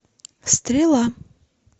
стрела